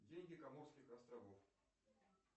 деньги коморских островов